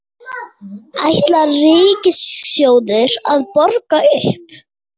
Ætlar Ríkissjóður að borga upp?